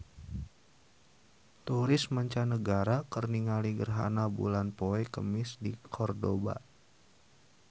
Turis mancanagara keur ningali gerhana bulan poe Kemis di Kordoba